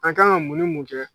An ka kan ka mun ni mun kɛ